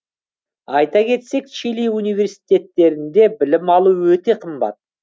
айта кетсек чили университеттерінде білім алу өте қымбат